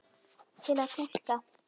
Til að túlka